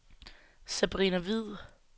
Sabrina Hviid